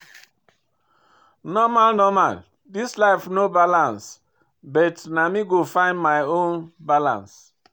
Normal normal, this life no balance, but na me go find my own balance.